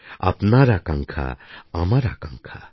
আপনার আকাঙ্ক্ষা আমার আকাঙ্ক্ষা